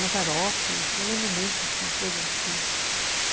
Mazaropi, eu lembro muito coisa assim.